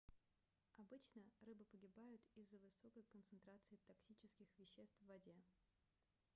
обычно рыбы погибают из-за высокой концентрации токсических веществ в воде